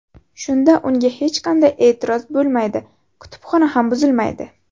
Shunda unga hech qanday e’tiroz bo‘lmaydi, kutubxona ham buzilmaydi.